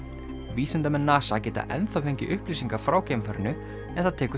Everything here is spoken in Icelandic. vísindamenn NASA geta enn þá fengið upplýsingar frá geimfarinu en það tekur